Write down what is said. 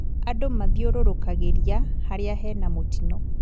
Andũ mathiũrũrũkagĩria harĩa hena mũtino